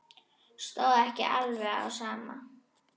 Stóð ekki alveg á sama.